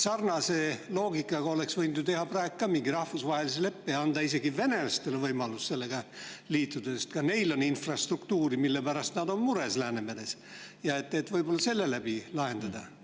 Sarnase loogikaga oleks võinud ju teha praegu ka mingi rahvusvahelise leppe ja anda isegi venelastele võimaluse sellega liituda, sest ka neil on Läänemeres infrastruktuuri, mille pärast nad on mures, ja sedakaudu olukorda lahendada.